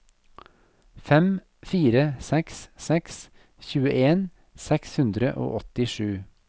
fem fire seks seks tjueen seks hundre og åttisju